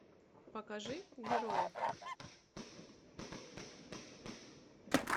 покажи герои